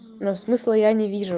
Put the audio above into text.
но смысла я не вижу